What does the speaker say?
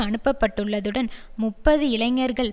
அனுப்பப்பட்டுள்ளதுடன் முப்பது இளஞர்கள்